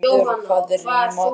Ásvarður, hvað er í matinn?